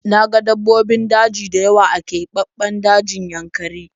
Na ga dabbobin daji dayawa a kebabben dajin yankari